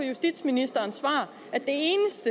justitsministerens svar